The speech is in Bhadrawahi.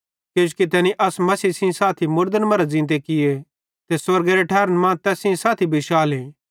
किजोकि तैनी अस मसीह सेइं साथी मुड़दन मरां ज़ींते किये ते स्वर्गेरे ठैरन मां तैस सेइं साथी बिशाले